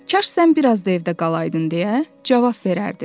Kaş sən bir az da evdə qalaydın deyə cavab verərdi.